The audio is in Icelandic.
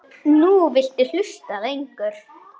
Nú viltu hlusta lengur.